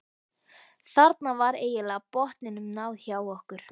Þarna var eiginlega botninum náð hjá okkur.